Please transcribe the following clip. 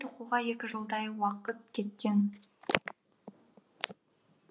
тоқуға екі жылдай уаықт кеткен